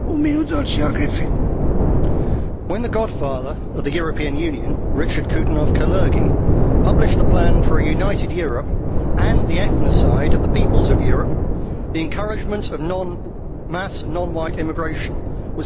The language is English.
MrPresident, when the godfather of the European Union, Richard Coudenhove Kalergi, published the plan for a united Europe and the ethnocide of the peoples of Europe, the encouragement of mass non white immigration was central to the plot.